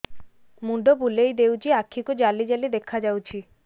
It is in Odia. ମୁଣ୍ଡ ବୁଲେଇ ଦେଉଛି ଆଖି କୁ ଜାଲି ଜାଲି ଦେଖା ଯାଉଛି